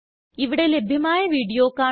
ഇവിടെ ലഭ്യമായ വീഡിയോ കാണുക